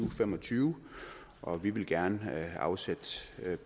og fem og tyve og vi vil gerne afsætte